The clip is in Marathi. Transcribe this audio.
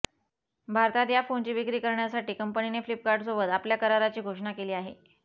भारतात या फोनची विक्री करण्यासाठी कंपनीने फ्लिपकार्टसोबत आपल्या कराराची घोषणा केली आहे